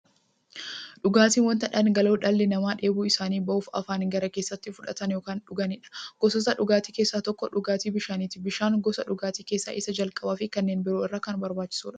Dhugaatiin wanta dhangala'oo dhalli namaa dheebuu isaanii ba'uuf, afaaniin gara keessaatti fudhatan yookiin dhuganiidha. Gosoota dhugaatii keessaa tokko dhugaatii bishaaniti. Bishaan gosa dhugaatii keessaa isa jalqabaafi kanneen biroo irra kan barbaachisuudha.